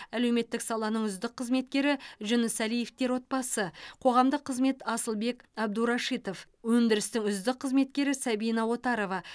әлеуметтік саланың үздік қызметкері жүнісәлиевтер отбасы қоғамдық қызмет асылбек әбдурашитов өндірістің үздік қызметкері сабина отарова